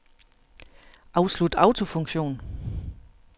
Afslut autofunktion.